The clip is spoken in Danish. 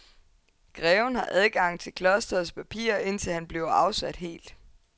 Greven har adgang til klostrets papirer indtil han bliver afsat helt.